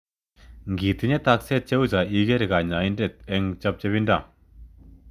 Ngitinye tokset che u cho iker kanyoindet ing chopchopindo.